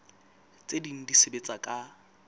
tse ding di sebetsa ka